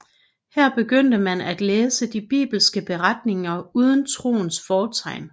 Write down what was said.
Her begyndte man at læse de bibelske beretninger uden troens fortegn